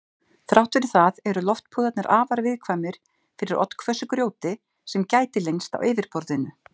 Þrátt fyrir það eru loftpúðarnir afar viðkvæmir fyrir oddhvössu grjóti sem gæti leynst á yfirborðinu.